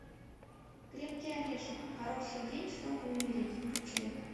крепкий орешек хороший день чтобы умереть включай